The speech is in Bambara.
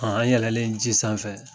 an yɛlɛlen ji sanfɛ